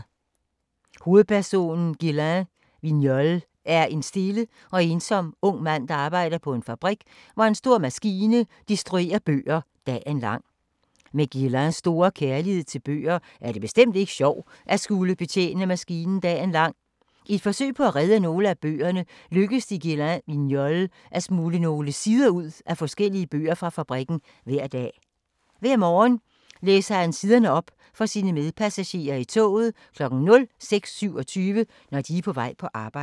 Hovedpersonen Guylain Vignolle er en stille og ensom ung mand, der arbejder på en fabrik, hvor en stor maskine destruerer bøger dagen lang. Med Guylains store kærlighed til bøger, er det bestemt ikke sjovt at skulle betjene maskinen dagen lang. I et forsøg på at redde nogle af bøgerne lykkes det Guylain Vignolle at smugle nogle sider ud af forskellige bøger fra fabrikken hver dag. Hver morgen læser han siderne op for sine medpassagerer i toget kl. 06.27, når de er på vej på arbejde.